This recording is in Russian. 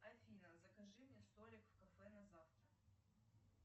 афина закажи мне столик в кафе на завтра